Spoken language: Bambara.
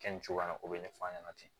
Kɛ nin cogoya in na o bɛ ɲɛfɔ a ɲɛna ten